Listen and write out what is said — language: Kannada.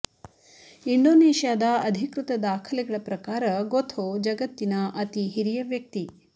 ಇಂಡೋನೇಷ್ಯಾದ ಅಧಿಕೃತ ದಾಖಲೆಗಳ ಪ್ರಕಾರ ಗೊಥೊ ಜಗತ್ತಿನ ಅತಿ ಹಿರಿಯ ವ್ಯಕ್ತಿ